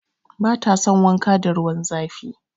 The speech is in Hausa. Bata son wanka da ruwan zafi.